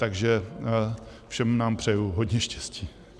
Takže všem nám přeji hodně štěstí.